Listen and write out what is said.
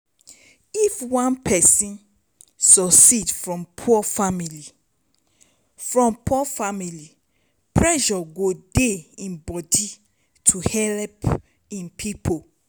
if one person suceed from poor family from poor family pressure go dey im body to help im pipo